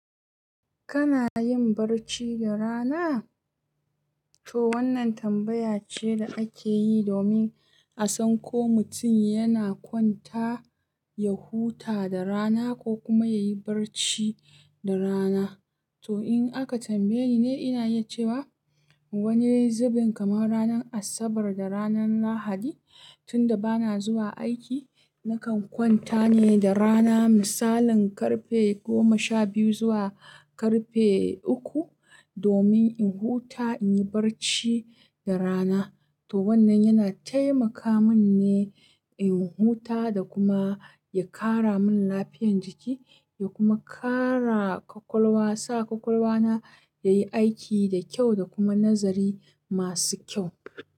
Kana yin barci da rana? To wannan tambaya ce da ake yi domin a san ko mutum yana kwanta ya huta da rana ko kuma ya yi barci da rana. To in aka tambaye ni ne, ina yi cewa wani zubin kamar ranar Asabar da ranar Lahadi, tun da ba na zuwa aiki, nakan kwanta ne da rana, misalin karfe goma sha biyu zuwa karfe uku, domin in huta, in yi barci da rana. To wannan yana taimaka min ne in huta da kuma ya ƙara min lafiyar jiki, ya kuma ƙara ƙwaƙwalwa, sa ƙwaƙwalwana ya yi aiki da kyau da kuma nazari masu kyau.